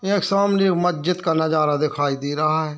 यह एक सामने मस्जिद का नज़ारा दिखाई दे रहा है।